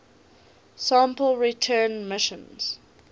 sample return missions